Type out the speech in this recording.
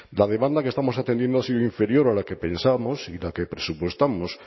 la demanda que estamos atendiendo ha sido inferior a la que pensábamos y la que presupuestamos